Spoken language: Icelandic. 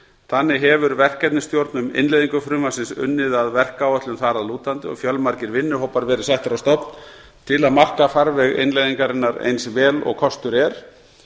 þannig hefur verkefnisstjórn um innleiðingu frumvarpsins unnið að verkáætlun þar að lútandi og fjölmargir vinnuhópar verið settir á stofn til að marka farveg innleiðingarinnar eins vel og kostur er